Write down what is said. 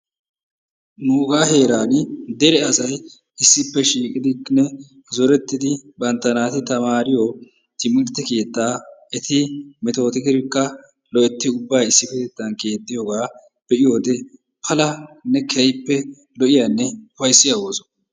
Nugaa heraa dere asay issippe shiiqidinne zoorettidi bantta naati taamariyoo timirtte keettaa eti metotidikka loytti ubbaa issi kuttaan keexxiyoogaa be'iyoode palanne keehippe lo"iyanne upayssiyaa ooso.